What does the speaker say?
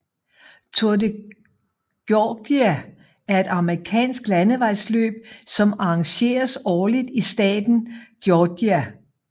Tour de Georgia er et amerikansk landevejsløb som arrangeres årligt i staten Georgia